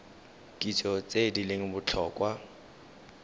kitso tse di leng botlhokwa